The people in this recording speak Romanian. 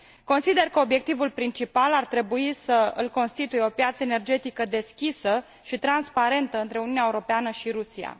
Consider că obiectivul principal ar trebui să îl constituie o piață energetică deschisă și transparentă între Uniunea Europeană și Rusia.